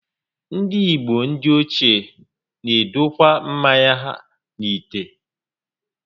Ndị igbo ndị ochie n'edokwa mmanya ha n'ite